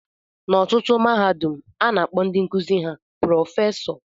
N'ọtụtụ mahadum, a na-akpọ ndị nkuzi ha prọfesọ